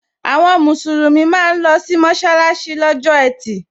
Àwọn musulumi máa ń losi mọsalasi lọ́jọ́ etí.